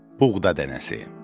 Buğda dənəsi.